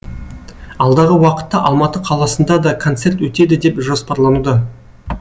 алдағы уақытта алматы қаласында да концерт өтеді деп жоспарлануда